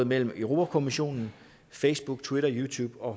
mellem europa kommissionen facebook twitter youtube og